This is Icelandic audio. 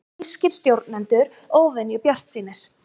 Þýskir stjórnendur óvenju bjartsýnir